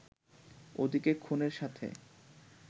ওদিকে খুনের সাথে